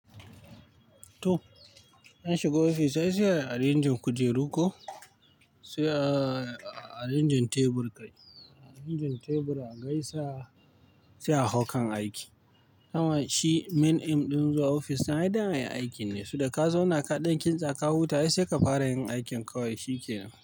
To, an shiga ofis ai sai a yi a renjin kujeru ko sai a renjin tebur? A renjin tebur a gaisa sai a hau kan aiki. Amma shi main aim ɗin zuwa ofis din ai dan ai aiki ne, so da ka zauns kaɗan kintsa ka huta ai sai ka fara yin aikin ka wai shi ke nan.